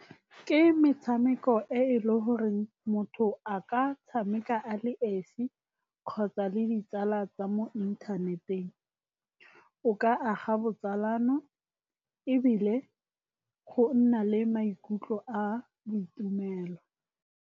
Ke metshameko e e le goreng motho a ka tshameka a le esi kgotsa le ditsala tsa mo inthaneteng. O ka aga botsalano ebile go nna le maikutlo a boitumelo.